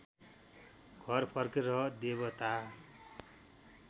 घर फर्के र देवता